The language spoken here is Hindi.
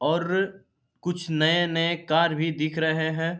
और कुछ नए-नए कार भी दिख रहे हैं।